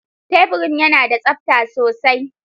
Teburin yana da tsabta sosai.